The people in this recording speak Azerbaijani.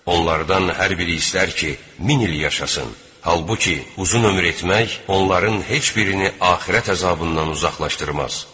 Onlardan hər biri istər ki, min il yaşasın, halbuki uzun ömür etmək onların heç birini axirət əzabından uzaqlaşdırmaz.